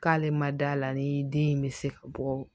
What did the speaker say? K'ale ma da la ni den in bɛ se ka bɔ